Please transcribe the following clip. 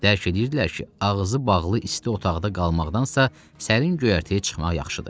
Dərk eləyirdilər ki, ağzı bağlı isti otaqda qalmaqdansa, sərin göyərtəyə çıxmaq yaxşıdır.